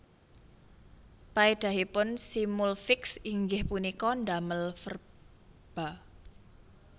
Paedahipun simulfiks inggih punika ndamel verba